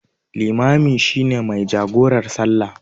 Limami shi ne mai jagorar salla.